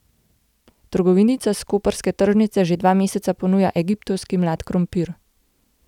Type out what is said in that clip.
Trgovinica s koprske tržnice že dva meseca ponuja egiptovski mlad krompir.